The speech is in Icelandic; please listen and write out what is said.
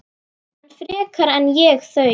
Ekki frekar en ég þau.